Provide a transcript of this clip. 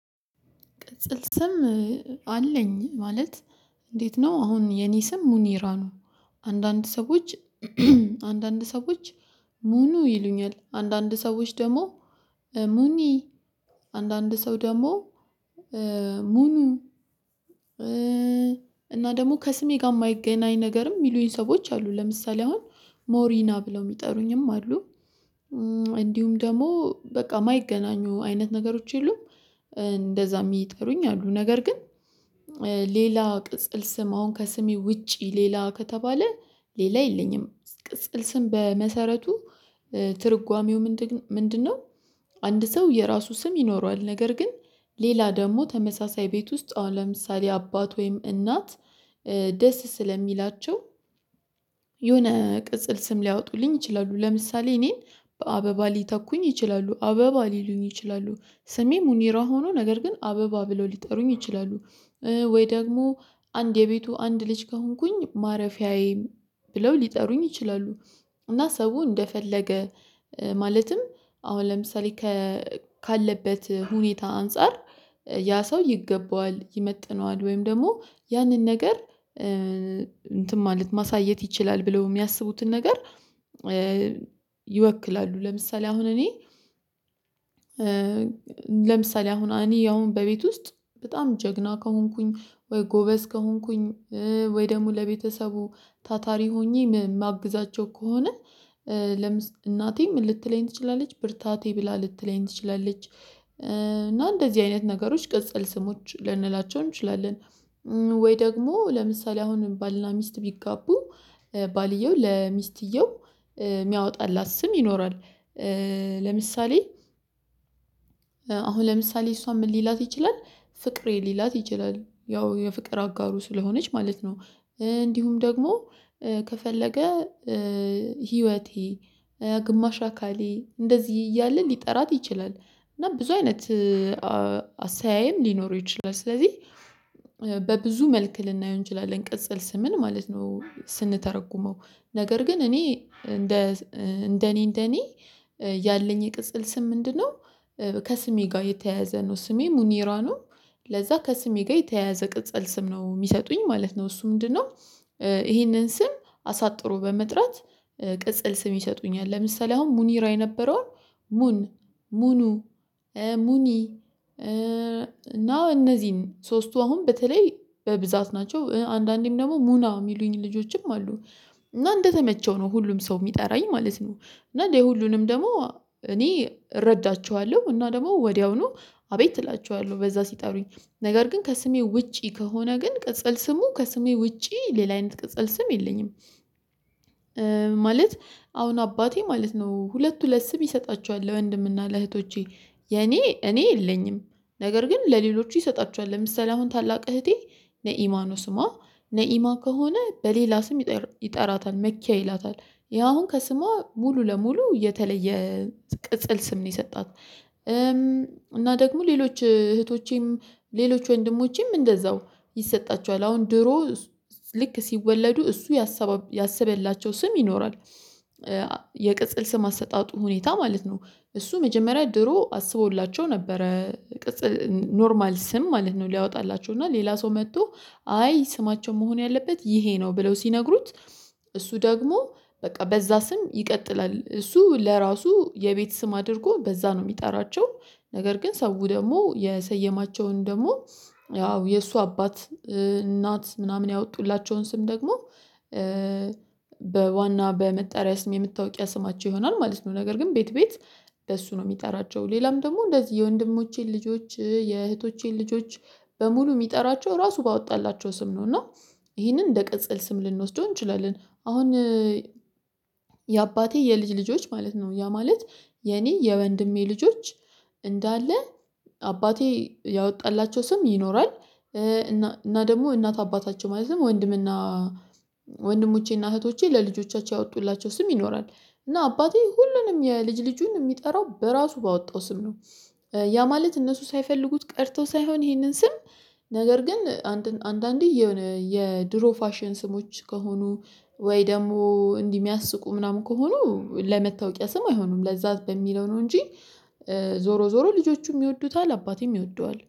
ቅጽል ስም አለኝ ማለት እንዴት ነው አሁን የኔ ስም ሙኒራ ነው። አንዳንድ ሰዎች አንዳንድ ሰዎች ሙኑ ይሉኛል አንዳንድ ሰዎች ደግሞ ሙኒ አንዳንድ ሰው ደግሞ ሙኑ እና ደግሞ ከስሜ ጋር የማይገናኝ ነገርም የሚሉኝ ሰዎች አሉ ለምሳሌ አሁን ሞሪና ብለው የሚጠሩኝም አሉ። እንዲሁም ደግሞ በቃ የማይገናኙ አይነት ነገሮች የሉም። እንደዛ የሚጠሩኝ አሉ ነገር ግን ሌላ ቅጽል ስም አሁን ከስሜ ውጪ ሌላ ከተባለ ሌላ የለኝም ቅጽል ስም በመሰረቱ ትርጓሜው ምንድነው? አንድ ሰው የራሱ ስም ይኖረዋል ነገር ግን ሌላ ደግሞ ተመሳሳይ ቤት ውስጥ ለምሳሌ አባት ወይም እናት ደስ ስለሚላቸው የሆነ ቅጽል ስም ሊያወጡልኝ ይችላሉ ለምሳሌ እኔን በአበባ ሊተኩኝ ይችላሉ አበባ ሊሉኝ ይችላሉ። ስሜ ሙኒራ ሆኖ ነገር ግን አበባ ብለው ሊጠሩኝ ይችላሉ ወይ ደግሞ አንድ የቤቱ አንድ ልጅ ከሆንኩኝ ማረፊያዬም ብለው ሊጠሩኝ ይችላሉ። እና ሰው እንደፈለገ ማለትም አሁን ለምሳሌ ካለበት ሁኔታ አንፃር ያ ሰው ይገባዋል ይመጥነዋል ወይም ደግሞ ያንን ነገር እንትን ማለት ማሳየት ይችላል ብለው የሚያስቡትን ነገር ይወክላሉ። ለምሳሌ አሁን እኔ ለምሳሌ አሁን እኔ አሁን በቤት ውስጥ በጣም ጀግና ከሆንኩኝ ወይ ጎበዝ ከሆንኩኝ ወይ ደግሞ ለቤተሰቡ ታታሪ ሆኜ የማግዛቸው ከሆነ እናቴ ምን ልትለኝ ትችላለች ብርታቴ ብላ ልትለኝ ትችላለች። እና እንደዚህ አይነት ነገሮች ቅጸል ስሞች ልንላቸው እንችላለን። ወይ ደግሞ ለምሳሌ አሁን ባልና ሚስት ቢጋቡ ባልየው ለሚስትየው የሚያወጣላት ስም ይኖራል። ለምሳሌ አሁን ለምሳሌ እሷ ምን ሊላት ይችላል ፍቅሬ ሊላት ይችላል ያው የፍቅር አጋሩ ስለሆነች ማለት ነው። እንዲሁም ደግሞ ከፈለገ ህይወቴ ግማሽ አካሌ እንደዚህ እያለ ሊጠራት ይችላል። እና ብዙ አይነት አሰያይም ሊኖር ይችላል። ስለዚህ በብዙ መልክ ልናየው እንችላለን ቅጽል ስምን ማለት ነው። ስንተረጉመው ነገር ግን እኔ እንደ እንደኔ እንደኔ ያለኝ የቅጽል ስም ምንድነው? ከስሜ ጋር የተያያዘ ነው ስሜ ሙኒራ ነው። ለዛ ከስሜ ጋር የተያያዘ ቅጽል ስም ነው የሚሰጡኝ ማለት ነው። እሱ ምንድነው? ይሄንን ስም አሳጥሮ በመጥራት ቅጽል ስም ይሰጡኛል ለምሳሌ አሁን ሙኒራ የነበረው ሙን ሙኑ ሙኒ እና እነዚህን ሶስቱ አሁን በተለይ በብዛት ናቸው። አንዳንዴም ደግሞ ሙና የሚሉኝ ልጆችም አሉ እና እንደተመቸው ነው ሁሉም ሰው የሚጠራኝ ማለት ነው። እና ለሁሉንም ደግሞ እኔ እረዳቸዋለሁ እና ደግሞ ወዲያውኑ አቤት እላቸዋለሁ በዛ ሲጠሩኝ ነገር ግን ከስሜ ውጪ ከሆነ ግን ቅጽል ስሙ ከስሜ ውጪ ሌላ አይነት ቅጽል ስም የለኝም። ማለት አሁን አባቴ ማለት ነው ሁለት ሁለት ስም ይሰጣቸዋል ለወንድምና ለእህቶቼ የኔ እኔ የለኝም። ነገር ግን ለሌሎች ይሰጣቸዋል ለምሳሌ አሁን ታላቅ እህቴ ነኢማ ነው ስማ ነኢማ ከሆነ በሌላ ስም ይጠራታል መኪያ ይላታል ይሄ አሁን ከስሟ ሙሉ ለሙሉ የተለየ ቅጽል ስም ነው። የሰጣት እና ደግሞ ሌሎች እህቶቼም ሌሎች ወንድሞቼም እንደዛው ይሰጣቸዋል አሁን ድሮ ልክ ሲወለዱ እሱ ያሰበላቸው ስም ይኖራል። የቅጽል ስም አሰጣጡ ሁኔታ ማለት ነው። እሱ መጀመሪያ ድሮ አስቦላቸው ነበረ ኖርማል ስም ማለት ነው። ሊያወጣላቸው እና ሌላ ሰው መጥቶ አይ ስማቸው መሆን ያለበት ይሄ ነው ብለው ሲነግሩት እሱ ደግሞ በቃ በዛ ስም ይቀጥላል እሱ ለራሱ የቤት ስም አድርጎ በዛ ነው የሚጠራቸው። ነገር ግን ሰው ደግሞ የሰየማቸውን ደግሞ ያው የእሱ አባት እናት ምናምን ያወጡላቸውን ስም ደግሞ በዋና በመጠሪያ ስም የመታወቂያ ስማቸው ይሆናል ማለት ነው። ነገር ግን ቤት ቤት በሱ ነው የሚጠራቸው ሌላም ደግሞ እንደዚህ የወንድሞቼን ልጆች የእህቶቼን ልጆች በሙሉ የሚጠራቸው ራሱ ባወጣላቸው ስም ነው። እና ይሄንን እንደ ቅጽል ስም ልንወስደው እንችላለን። አሁን የአባቴ የልጅ ልጆች ማለት ነው ያ ማለት የኔ የወንድሜ ልጆች እንዳለ አባቴ ያወጣላቸው ስም ይኖራል። እና እና ደግሞ እናት አባታቸው ማለትም ወንድምና ወንድሞቼና እህቶቼ ለልጆቻቸው ያወጡላቸው ስም ይኖራል። እና አባቴ ሁሉንም የልጅ ልጁን የሚጠራው በራሱ ባወጣው ስም ነው። ያ ማለት እነሱ ሳይፈልጉት ቀርተው ሳይሆን ይሄንን ስም ነገር ግን አንዳንዴ የሆነ የድሮ ፋሽን ስሞች ከሆኑ ወይ ደግሞ እንዲህ የሚያስቁ ምናምን ከሆኑ ለመታወቂያ ስም አይሆኑም ለዛ በሚለው ነው። እንጂ ዞሮ ዞሮ ልጆቹም ይወዱታል አባቴም ይወደዋል